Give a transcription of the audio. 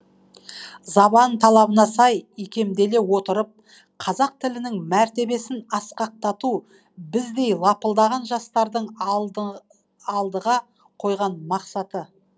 заман талабына сай икемделе отырып қазақ тілінің мәртебесін асқақтату біздей лапылдаған жастардың алдыға қойған мақсаты